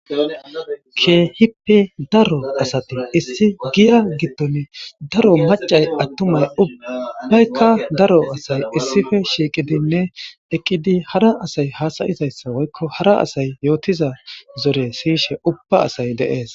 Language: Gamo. Keehippi daro asati issi giya gitton daro macay attumay ubbbaykka daro asay issippe shiiqidinne eqqidi hara asay haasayizayssa woykko hara asay yootiza zore siyishe ubba asay deees.